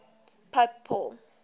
pope paul